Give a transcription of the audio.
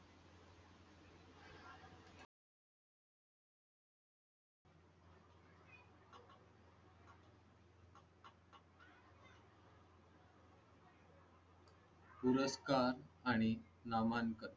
पुरस्कार आणि नामांक.